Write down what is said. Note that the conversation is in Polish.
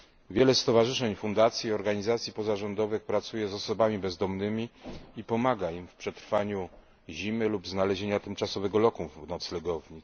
Wiele stowarzyszeń, fundacji i organizacji pozarządowych pracuje z osobami bezdomnymi i pomaga im w przetrwaniu zimy lub znalezieniu tymczasowego lokum w noclegowni.